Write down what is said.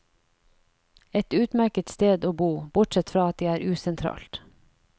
Et utmerket sted å bo, bortsett fra at det er usentralt.